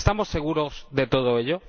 ¿Estamos seguros de todo ello?